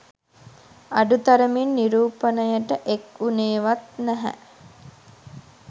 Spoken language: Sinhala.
අඩු තරමින් නිරූපණයට එක් වුණේවත් නැහැ